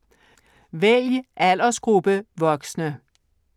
Vælg aldersgruppe: voksne